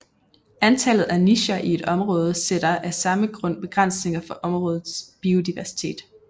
Antallet af nicher i et område sætter af samme grund begrænsninger for områdets biodiversitet